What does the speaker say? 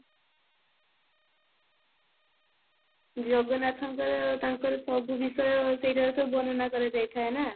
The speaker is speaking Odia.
ଜଗନ୍ନାଥଙ୍କର ତାଙ୍କର ସବୁ ବିଷୟ ସେଇଠାରେ ସବୁ ବର୍ଣନା କରାଯାଇଥାଏ ନା